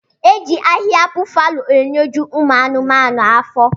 Eji ahiha bufalo enyeji ụmụ anuma afọ.